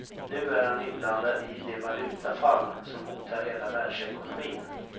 Nu är han inblandad i det valutafall som hotar hela världsekonomin.